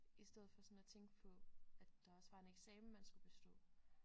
I stedet for sådan at tænke på at der også var en eksamen man skulle bestå